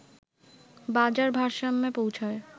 বাজার ভারসাম্যে পৌছয়